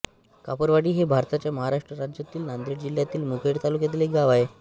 कापरवाडी हे भारताच्या महाराष्ट्र राज्यातील नांदेड जिल्ह्यातील मुखेड तालुक्यातील एक गाव आहे